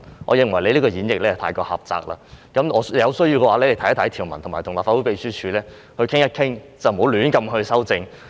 我認為你這個演繹太過狹窄，有需要的話，你可以參閱相關條文，並與立法會秘書處商討，不要胡亂修正。